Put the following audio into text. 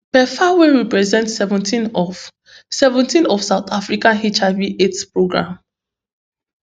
pepfar wey represent seventeen of seventeen of south africa hivaids programme